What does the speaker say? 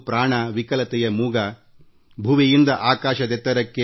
ಸ್ವಾತಂತ್ರ್ಯ ಗೀತೆ ಅನುರಣಿಸುತ್ತದೆ